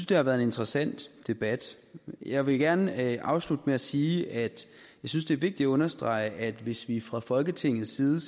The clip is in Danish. det har været en interessant debat jeg vil gerne afslutte med at sige at jeg synes det er vigtigt at understrege at hvis vi fra folketingets side